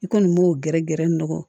I kɔni b'o gɛrɛ gɛrɛ ne na